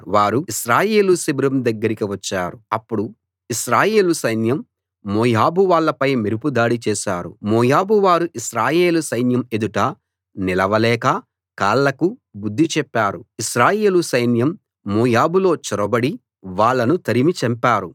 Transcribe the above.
వారు ఇశ్రాయేలు శిబిరం దగ్గరికి వచ్చారు అప్పుడు ఇశ్రాయేలు సైన్యం మోయాబు వాళ్ళపై మెరుపు దాడి చేశారు మోయాబు వారు ఇశ్రాయేలు సైన్యం ఎదుట నిలవలేక కాళ్ళకు బుద్ధి చెప్పారు ఇశ్రాయేలు సైన్యం మోయాబులో చొరబడి వాళ్ళను తరిమి చంపారు